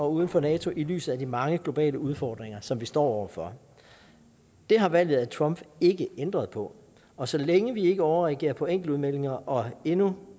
uden for nato i lyset af de mange globale udfordringer som vi står over for det har valget af trump ikke ændret på og så længe vi ikke overreagerer på enkeltudmeldinger og endnu